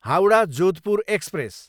Howrah, Jodhpur express